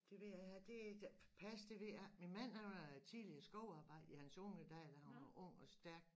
Det ved jeg ikke det pas det ved jeg ikke min man han var tidligere skovarbejdeer i hans unge dage da han var ung og stærk